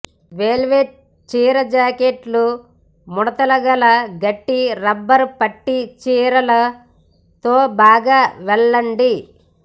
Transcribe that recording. velvet చీర జాకెట్లు ముడతలుగల గట్టి రబ్బరు పట్టీ చీరలు తో బాగా వెళ్ళండి